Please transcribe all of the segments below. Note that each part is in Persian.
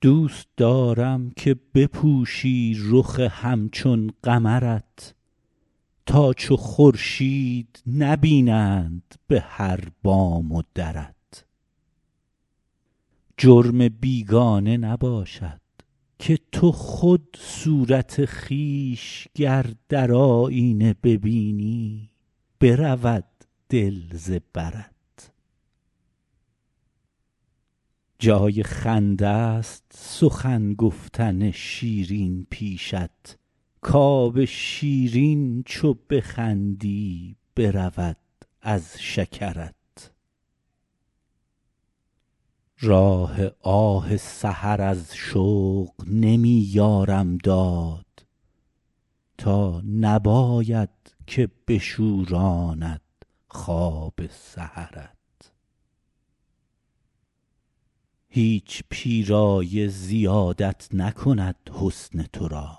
دوست دارم که بپوشی رخ همچون قمرت تا چو خورشید نبینند به هر بام و درت جرم بیگانه نباشد که تو خود صورت خویش گر در آیینه ببینی برود دل ز برت جای خنده ست سخن گفتن شیرین پیشت کآب شیرین چو بخندی برود از شکرت راه آه سحر از شوق نمی یارم داد تا نباید که بشوراند خواب سحرت هیچ پیرایه زیادت نکند حسن تو را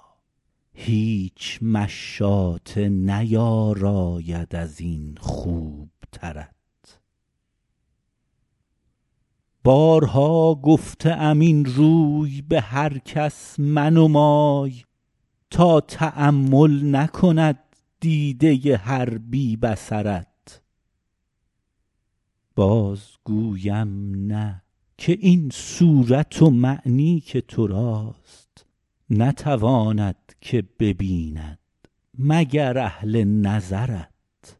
هیچ مشاطه نیاراید از این خوبترت بارها گفته ام این روی به هر کس منمای تا تأمل نکند دیده هر بی بصرت باز گویم نه که این صورت و معنی که تو راست نتواند که ببیند مگر اهل نظرت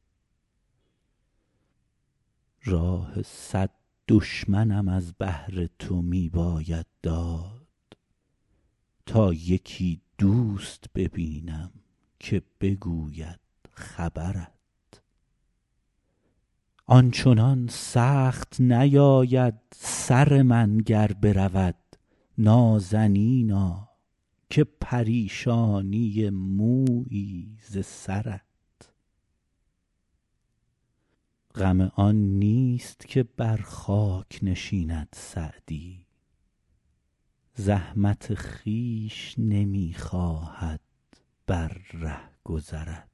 راه صد دشمنم از بهر تو می باید داد تا یکی دوست ببینم که بگوید خبرت آن چنان سخت نیاید سر من گر برود نازنینا که پریشانی مویی ز سرت غم آن نیست که بر خاک نشیند سعدی زحمت خویش نمی خواهد بر رهگذرت